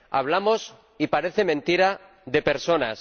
Hablamos —y parece mentira— de personas.